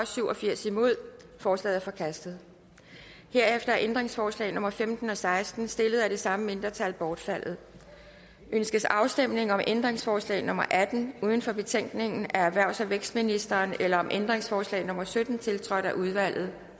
syv og firs forslaget er forkastet herefter er ændringsforslag nummer femten og seksten stillet af det samme mindretal bortfaldet ønskes afstemning om ændringsforslag nummer atten uden for betænkningen af erhvervs og vækstministeren eller om ændringsforslag nummer sytten tiltrådt af udvalget